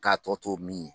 K'a tɔ to min ye